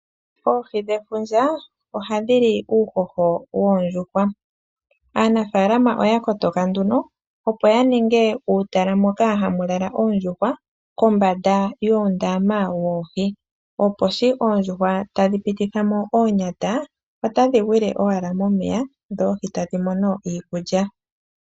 Oohi dhefundja ohadhi li uuhoho woondjuhwa. Aanafalama oya kotoka nduno opo ya ninge uutala moka hamu lala oondjuhwa kombanda yoondama woohi. Opo shi oondjuhwa tadhi pititha mo oonyata, otadhi gwile owala momeya dho oohi tadhi mono iikulya.